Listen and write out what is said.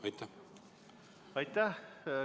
Aitäh!